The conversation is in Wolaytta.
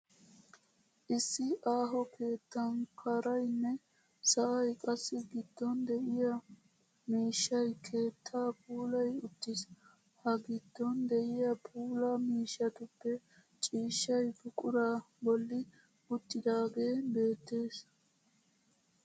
Issi aaho keettan kaaraynne sa'ay qassi giddon de'iyaa miishshay keettaa puulayi uttis. Ha giddon de'iya puula miishshatuppe ciishshay buquraa bolli uttidaagee beettes.